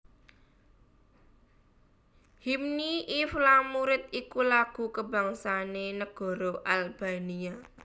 Hymni i Flamurit iku lagu kabangsané negara Albania